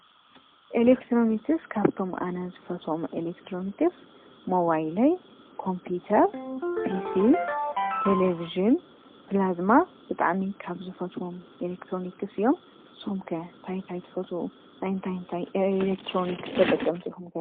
ኤሌክትሮኒክስ ካብቶም ኣነ ዝፈትዎም ኤለክትሮንክስ ሞባይለይ፣ ኮምፒዩተር፣ ፒሲ፣ ቴለብዥን፣ ፕላዝማ ብጣዕሚ ካብ ዝፈትዎም ኤሌክትሮኒክስ እዮም፡፡ ንስኹም ከ እንታይ እንታይ ትፈትዉ? ናይ እንታይ ኤሌክትሮኒክስ ተጠቀምቲ ኢኹም ከ?